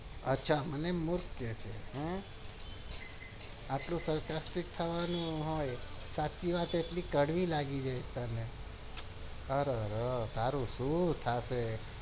અચ્છા મને મુર્ખ કે છે આટલી સાચી વાત કડવી લાગી ગઈ તને